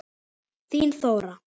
Þín Þóra.